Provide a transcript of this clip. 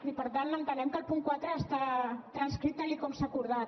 i per tant entenem que el punt quatre està transcrit tal com s’ha acordat